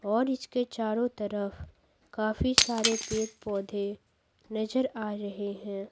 और इसके चारों तरफ काफी सारे पेड़-पौधे नजर आ रहे हैं।